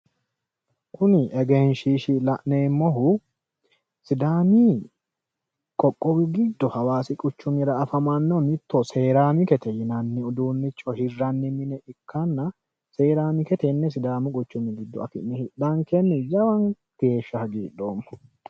Kuni egenshiishshi la'neemmohu sidaaamu qoqqowi giddo hawaasi quchumira afamannohu seraamikete yinanni uduunnicho hirranni mine ikkanna seraamike tenne sidaamu quchumi giddo afi'ne hidhankenni jawa geeshsha hagidhoommo.